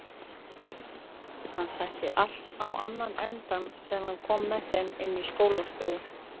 Hann setti allt á annan endann þegar hann kom með þeim inn í skólastofuna.